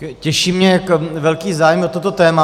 Těší mě velký zájem o toto téma.